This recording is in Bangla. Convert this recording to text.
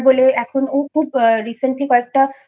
ও খুব recently কয়েকটা